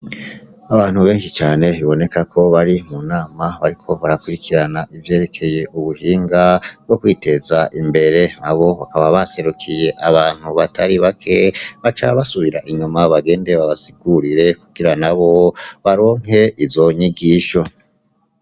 Abantu benshi cane biboneka ko bari mu nama bariko barakurikirana ivyerekeye ubuhinga bwo kwiteza imbere abo baba baserukiye abantu batari bake baca basubira inyuma bagende babasigurire kugira nabo baronke izo nyigisho.